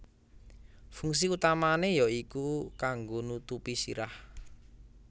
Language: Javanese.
Fungsi utamané ya iku kanggo nutupi sirah